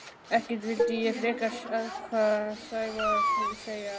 Ekkert vildi ég frekar en hvað myndi Sævar segja?